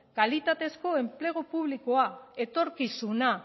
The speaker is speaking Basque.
kalitatezko enplegu publikoa etorkizuna